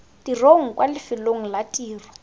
tirong kwa lefelong la tiro